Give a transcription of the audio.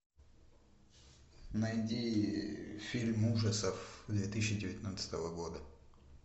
найди фильм ужасов две тысячи девятнадцатого года